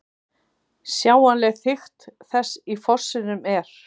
Sjáanleg þykkt þess í fossinum er